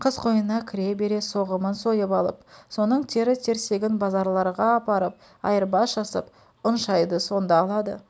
қыс қойнына кіре бере соғымын сойып алып соның тері-терсегін базарларға апарып айырбас жасап ұн шайды сонда алады